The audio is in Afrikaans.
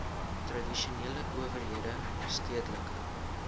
tradisionele owerhede stedelike